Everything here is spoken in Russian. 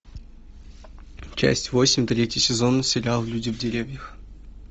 часть восемь третий сезон сериал люди в деревьях